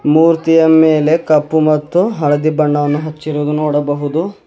ಮೂರ್ತಿಯ ಮೇಲೆ ಕಪ್ಪು ಮತ್ತು ಹಳದಿ ಬಣ್ಣವನ್ನು ಹಚ್ಚಿರುವುದು ನೋಡಬಹುದು.